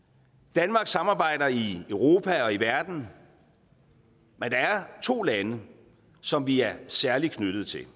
danmark samarbejder i europa og i verden men der er to lande som vi er særligt knyttet til